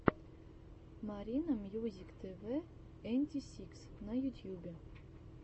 маринамьюзиктвэнтисикс на ютьюбе